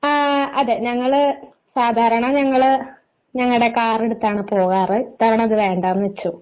ആ അതേ ഞങ്ങള് സാധാരണ ഞങ്ങൾ ഞങ്ങളുടെ കാർ എടുത്ത് ആണ് പോകാറ് ഇത്തവണ അത് വേണ്ടെന്ന് വച്ചു